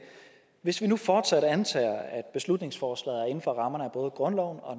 hvis vi nu fortsat antager at beslutningsforslaget er inden for rammerne af både grundloven og